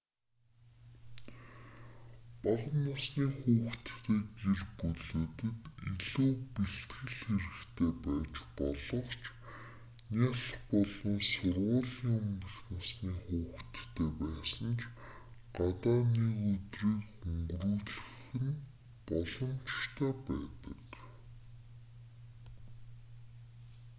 бага насны хүүхэдтэй гэр бүлүүдэд илүү бэлтгэл хэрэгтэй байж болох ч нялх болон сургуулийн өмнөх насны хүүхэдтэй байсан ч гадаа нэг өдрийг өнгөрүүлэх нь боломжтой байдаг